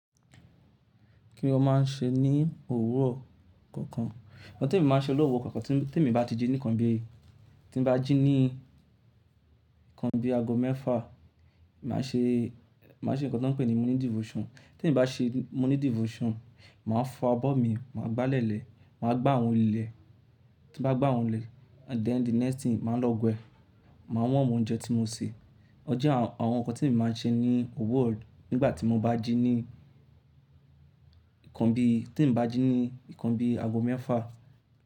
Kíni ó máa ń ṣe ní òwúrọ̀ kankan? Ọ̀hún tí mo máa ń ṣe lọ́wọ́ kankan tí mo bá ti jí nìkan bí i, tí mo bá jí ní nǹkan bí i ago mẹ́fà, màá ṣe, màá ṣe nǹkan tí wọ́n ń pè ní morning devotion. Tí mo bá ṣe morning devotion, màá fọ abọ́ mi, màá gbálẹ̀ lẹ̀, màá gbá àwọn ilẹ̀. Tí mo bá gbá àwọn ilẹ̀, then the next thing, màá lọ we, màá warm oúnjẹ tí mo sè. Oje àwọn nǹkan tí mo máa ń ṣe ní òwúrọ̀ nígbà tí mo bá jí ní nǹkan bí, tí mo bá jí ní nǹkan bí i ago mẹ́fà.